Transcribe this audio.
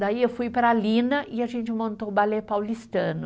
Daí eu fui para a Lina e a gente montou o balé paulistano.